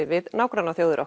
við nágrannaþjóðirnar